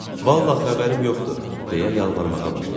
Vallah xəbərim yoxdur, deyə yalvarmağa başladı.